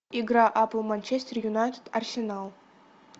игра апл манчестер юнайтед арсенал